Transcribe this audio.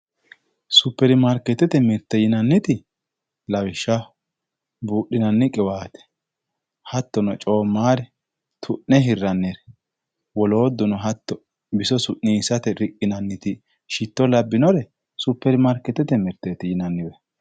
Supermaarketete mirte yinanniti lawishshaho buudhinanni qiwaate hattono coommare tu'ne hirrannire woloottuno hatto biso su'niissate riqqinanniti shitto labbinore supermaarketete mirte yinanniwe